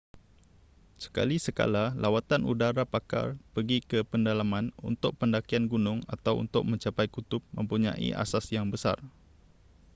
sekali-sekala lawatan udara pakar pergi ke pedalaman untuk pendakian gunung atau untuk mencapai kutub mempunyai asas yang besar